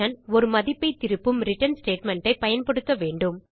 ஒரு மதிப்பை திருப்பும் ரிட்டர்ன் ஸ்டேட்மெண்ட் ஐ பயன்படுத்த வேண்டும்